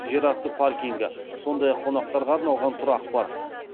жерасты паркингі сондай ақ қонақтарға арналған тұрақ бар